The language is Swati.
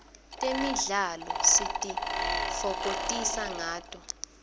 temidlalo sitifokotisa nqato